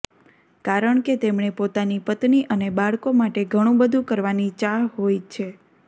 કારણ કે તેમણે પોતાની પત્ની અને બાળકો માટે ઘણું બધું કરવાની ચાહ હોય છે